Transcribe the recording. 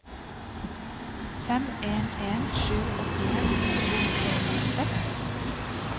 fem en en sju åttien to hundre og førtiseks